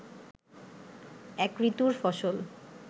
এক ঋতুর ফসল